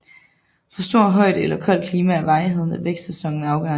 For stor højde eller koldt klima er varigheden af vækstsæsonen afgørende